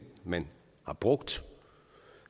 man har brugt